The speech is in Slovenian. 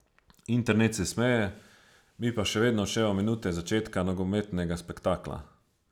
Internet se smeje, mi pa še vedno odštevamo minute začetka nogometnega spektakla.